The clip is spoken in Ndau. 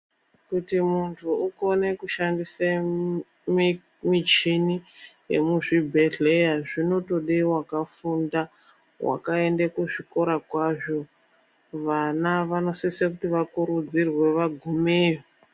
Kuti munhtu ukone kushandise mumichini yemizvibhedhleya zvinotode vakafinda vakaende kuzvikora kwazvo vana vanosise kuti vakurudzirwe vagumeyo.